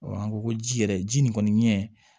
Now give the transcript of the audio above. an ko ko ji yɛrɛ ji nin kɔni ɲɛ